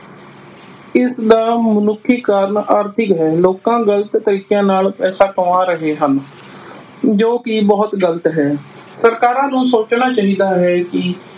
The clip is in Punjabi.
ਇਸ ਦਾ ਮਨੁੱਖੀ ਕਾਰਣ ਆਰਥਿਕ ਹੈ । ਲੋਕਾਂ ਗ਼ਲਤ ਤਰੀਕਿਆਂ ਨਾਲ ਪੈਸਾ ਕਮਾ ਰਹੇ ਹਨ ਜੋ ਕੀ ਬੁਹਤ ਗ਼ਲਤ ਹੈ । ਸਰਕਾਰਾਂ ਨੂੰ ਸੋਚਣਾ ਚਾਹੀਦਾ ਹੈ ਕੀ